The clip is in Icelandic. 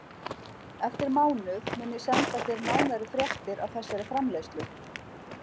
Eftir mánuð mun ég senda þér nánari fréttir af þessari framleiðslu.